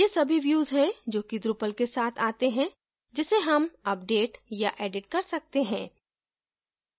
ये सभी views हैं जो कि drupal के साथ आते हैं जिसे हम update या edit कर सकते हैं